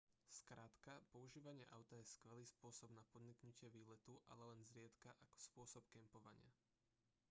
skrátka používanie auta je skvelý spôsob na podniknutie výletu ale len zriedka ako spôsob kempovania